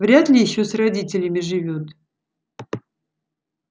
вряд ли ещё с родителями живёт